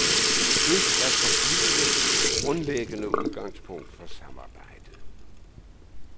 Det skal forblive det grundlæggende udgangspunkt for samarbejdet.